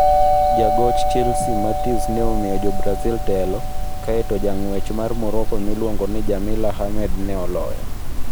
Jagoch Chelsea Mathius ne omiyo Jo - Brazil telo, kae to jang'wech mar Monaco miluongo ni Jamila Hamed ne oloyo.